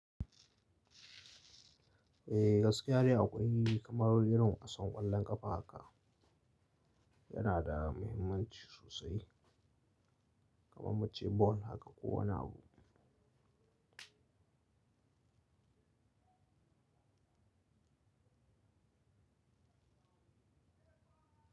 Eh gaskiya ne akwai kamar irin wasan ƙwallon ƙafa haka yana da mahimmanci sosai, kamar muce ball haka ko wani abu.